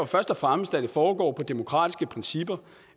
først og fremmest at det foregår på demokratiske principper